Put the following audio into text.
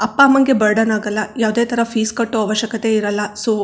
ಅಪ್ಪಾ ಅಮ್ಮಾ ಗೆ ಬರ್ಡನ್ ಆಗಲ್ಲಾ ಯಾವದೇ ತರ ಫೀಸ್ ಕಟ್ಟೋ ಅವಶ್ಯಕತೆ ಇರಲ್ಲಾ ಸೋ --